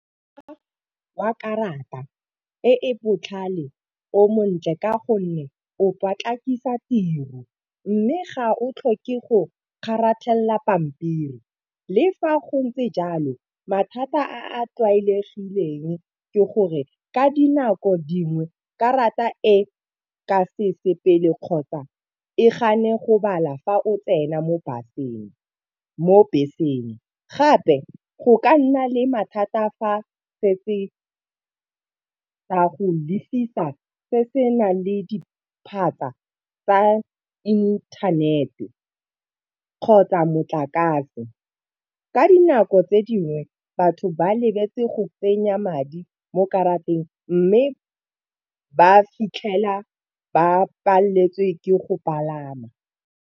Wa karata e e botlhale o montle ka gonne o potlakisa tiro. Mme ga o tlhoke go kgaratlhela pampiri le fa go ntse jalo mathata a a tlwaelegileng ke gore ka dinako dingwe karata e ka se sepele kgotsa e gane go bala fa o tsena mo bus-eng mo beseng. Gape go ka nna le mathata fa setse ka go lefisa se se nang le diphatsa tsa intanete kgotsa motlakase ka dinako tse dingwe batho ba lebetse go tsenya madi mo karateng mme ba fitlhela ba paleletswe ke go palama.